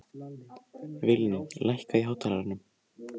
Vilný, lækkaðu í hátalaranum.